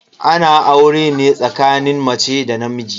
Ana aure ne tsakanin mace da namiji.